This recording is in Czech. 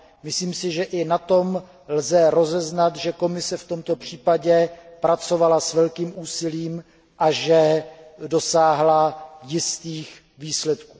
Myslím si, že i na tom lze rozeznat, že Komise v tomto případě pracovala s velkým úsilím a že dosáhla jistých výsledků.